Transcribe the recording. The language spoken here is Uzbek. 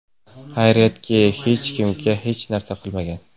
Xayriyatki, hech kimga hech narsa qilmagan.